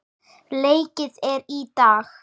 Leikið er í dag.